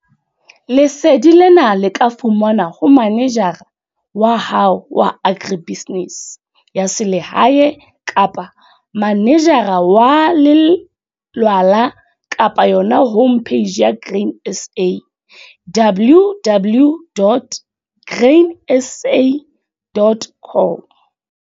Lesedi lena le ka fumanwa ho manejara wa hao wa agribusiness ya selehae kapa manejara wa lelwala kapa yona home page ya Grain SA, www.grainsa.com.